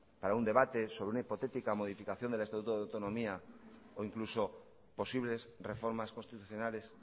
para un debate sobre una hipotética modificación del estatuto de autonomía o incluso posibles reformas constitucionales